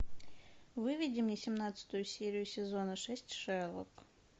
выведи мне семнадцатую серию сезона шесть шерлок